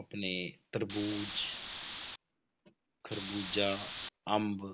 ਆਪਣੇ ਤਰਬੂਜ਼ ਖ਼ਰਬੂਜ਼ਾ, ਅੰਬ